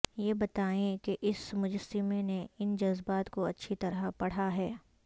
یہ بتائیں کہ اس مجسمے نے ان جذبات کو اچھی طرح پڑھا ہے